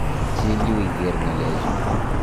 Chil yu iker ng'alechu.